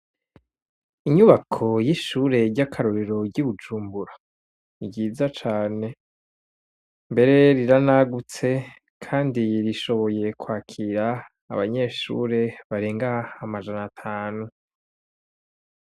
Inyubako y'ishure ryakarorero ryi Bujumbura ni ryiza cane mbere riranagutse Kandi rishoboye kwakira abanyeshure barenga amajana atanu.